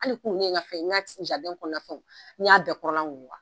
Hali kunu ne ye nka fɛn ɲa ci kɔnɔfɛn n y'a bɛɛ kɔrɔla wuguba.